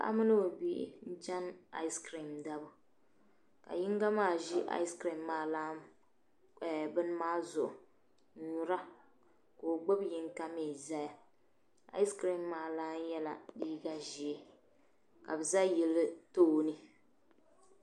Baɣa mini o bihi n chan ice cream dabu kaa yina maa ʒi ice cream bini maa zuɣu n nyura ka o gbubi yinga mi zaya ice cream maa lan mi yela liiga ʒee ka bi yili tooni.